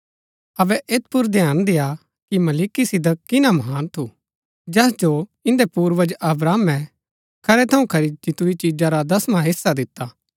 अबै ऐत पुर ध्यान देय्आ कि मलिकिसिदक किना महान थू जैस जो इन्दै पूर्वज अब्राहमे खरै थऊँ खरी जीतुरी चिजा रा दसवां हिस्सा दिता